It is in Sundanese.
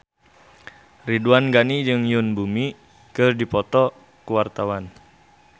Ridwan Ghani jeung Yoon Bomi keur dipoto ku wartawan